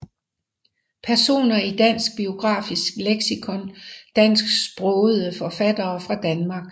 Personer i Dansk Biografisk Leksikon Dansksprogede forfattere fra Danmark